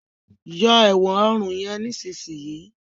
yọ èwòn òrun yen nísìsiyìí!